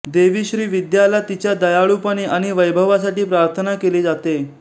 देवी श्री विद्याला तिच्या दयाळूपणे आणि वैभवासाठी प्रार्थना केली जाते